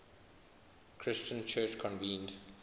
christian church convened